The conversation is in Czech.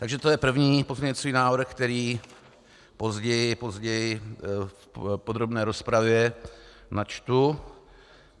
Takže to je první pozměňující návrh, který později v podrobné rozpravě načtu.